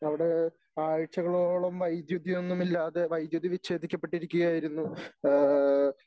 അവിടെ ആഴ്ചകളോളം വൈദ്യുതി ഒന്നുമില്ലാതെ വൈദ്യുതി വിഛേദിക്കപ്പെട്ടിരിക്കുകയായിരുന്നു. ഏഹ്